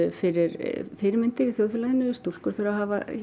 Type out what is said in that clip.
fyrir fyrirmyndir í þjóðfélaginu stúlkur þurfa að hafa